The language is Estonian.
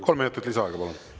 Kolm minutit lisaaega, palun!